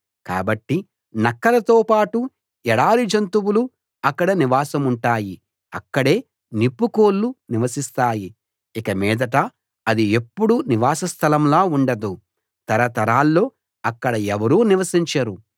కాబట్టి నక్కలతో పాటు ఎడారి జంతువులు అక్కడ నివాసముంటాయి అక్కడే నిప్పుకోళ్ళూ నివసిస్తాయి ఇకమీదట అది ఎప్పుడూ నివాస స్థలంలా ఉండదు తరతరాల్లో అక్కడ ఎవరూ నివసించరు